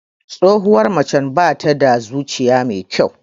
Tsohuwar macen bata da zuciya mai kyau.